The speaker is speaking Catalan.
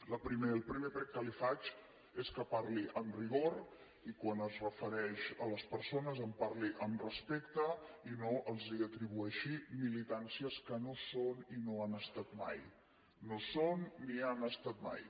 el primer prec que li faig és que parli amb rigor i quan es refereix a les persones en parli amb respecte i no els atribueixi militàncies que no són i no han estat mai no ho són ni ho han estat mai